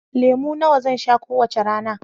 Lemu nawa zan sha kowace rana?